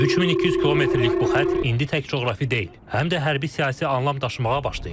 3200 kilometrlik bu xətt indi tək coğrafi deyil, həm də hərbi-siyasi anlam daşımağa başlayıb.